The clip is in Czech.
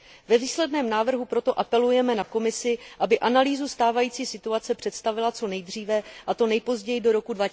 Ve výsledném návrhu proto apelujeme na Komisi, aby analýzu stávající situace představila co nejdříve, a to nejpozději do roku